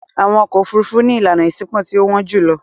Àwọn ọkọ̀-òfurufú ni ìlànà ìṣínípò tí ó wọ́n jù lọ.